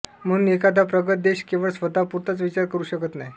म्हणून एखादा प्रगत देश केवळ स्वतःपुरताच विचार करू शकत नाही